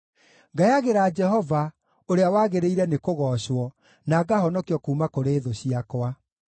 Ngayagĩra Jehova, ũrĩa wagĩrĩire nĩkũgoocwo, na ngahonokio kuuma kũrĩ thũ ciakwa.